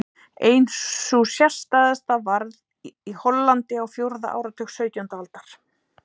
Ein sú sérstæðasta varð í Hollandi á fjórða áratug sautjándu aldar.